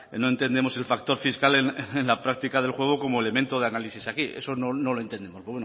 no entendemos el factor fiscal en la práctica del juego como elemento de análisis aquí eso no lo entendemos